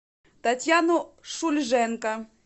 татьяну шульженко